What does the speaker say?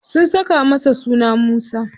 Sun saka masa suna Musa.